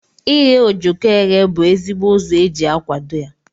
Ighe ojoko eghe bu ezigbo ụzọ eji akwado ya.